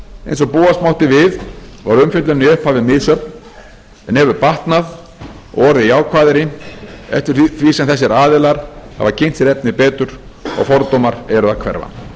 eins og búast mátti við var umfjöllunin í upphafi misjöfn en hefur batnað og orðið jákvæðari eftir því sem þessir aðilar hafa kynnt sér efnið betur og fordómar eru að hverfa